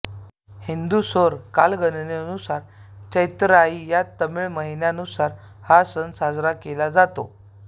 हिंदू सौर कालगणनेनुसार चैतिराई या तमिळ महिन्यानुसार हा सण साजरा केला जातो